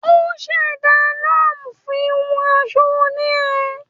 O ṣẹda loom fun hun aṣọ onirin